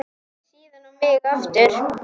Síðan á mig aftur.